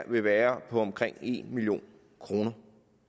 vil være på omkring en million kroner